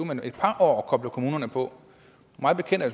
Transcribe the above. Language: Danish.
men et par år at koble kommunerne på mig bekendt er